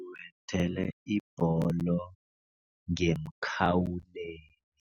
Ubethele ibholo ngemkhawulweni.